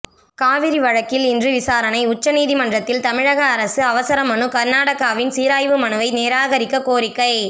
காவிரி வழக்கில் இன்று விசாரணை உச்ச நீதிமன்றத்தில் தமிழக அரசு அவசர மனு கர்நாடகாவின் சீராய்வு மனுவை நிராகரிக்க கோரிக்கை